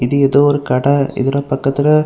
இது ஏதோ ஒரு கடை இதுல பக்கத்துல.